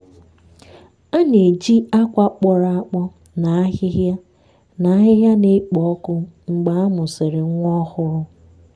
a na-eji akwa kpọrọ akpọ na ahịhịa na ahịhịa na-ekpo ọkụ mgbe a mụsịrị nwa ọhụrụ.